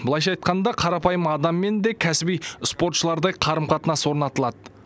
былайша айтқанда қарапайым адаммен де кәсіби спортшылардай қарым қатынас орнатылады